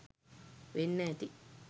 වෙන්න ඇති.